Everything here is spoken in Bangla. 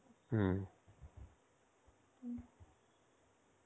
হম.